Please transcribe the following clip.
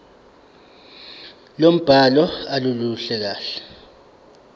lombhalo aluluhle kahle